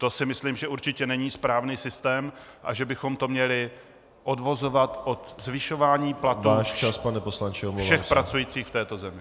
To si myslím, že určitě není správný systém a že bychom to měli odvozovat od zvyšování platů všech pracujících v této zemi.